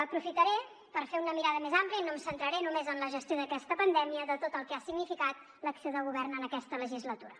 aprofitaré per fer una mirada més àmplia i no em centraré només en la gestió d’aquesta pandèmia sinó en tot el que ha significat l’acció de govern en aquesta legislatura